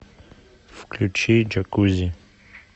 включи джакузи